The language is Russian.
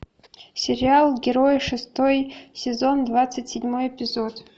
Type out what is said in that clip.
сериал герои шестой сезон двадцать седьмой эпизод